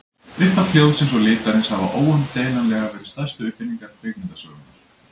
Upphaf hljóðsins og litarins hafa óumdeilanlega verið stærstu uppfinningar kvikmyndasögunnar.